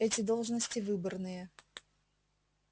эти должности выборные